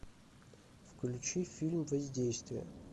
включи фильм воздействие